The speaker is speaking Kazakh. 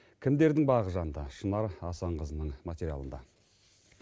кімдердің бағы жанды шынар асанқызының материалында